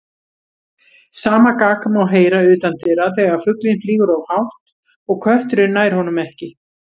Sama gagg má heyra utandyra þegar fuglinn flýgur of hátt og kötturinn nær honum ekki.